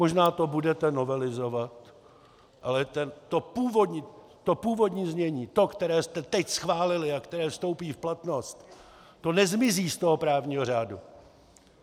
Možná to budete novelizovat, ale to původní znění, to, které jste teď schválili a které vstoupí v platnost, to nezmizí z toho právního řádu.